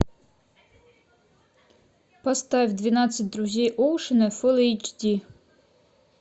поставь двенадцать друзей оушена фулл эйч ди